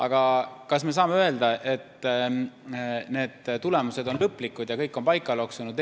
Aga kas me saame öelda, et need tulemused on lõplikud ja kõik on paika loksunud?